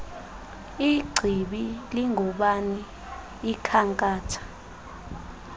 ingcibi lingubani ikhankatha